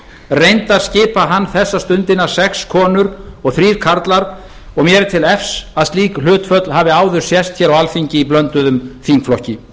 reyndar skipa hann þessa stundina sex konur og þrír karlar og mér er til efs að slík hlutföll hafi áður sést hér á alþingi í blönduðum þingflokki